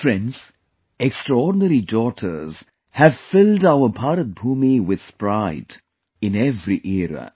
Friends, the extraordinary daughters have filled our Bharat Bhoomi with pride in every era